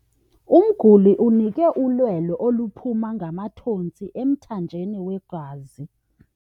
Umguli unikwe ulwelo oluphuma ngamathontsi emthanjeni wegazi.